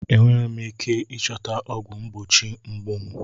Enweghị m ike ịchọta ọgwụ mgbochi mgbu m.